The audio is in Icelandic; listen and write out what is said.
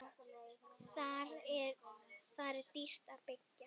Þar er dýrt að byggja.